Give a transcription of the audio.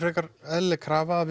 eðlileg krafa að